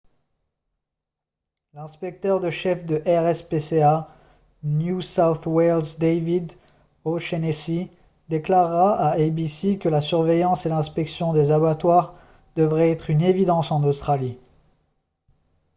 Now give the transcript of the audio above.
l'inspecteur de chef de rspca new south wales david o'shannessy déclara à abc que la surveillance et l'inspection des abattoirs devrait être une évidence en australie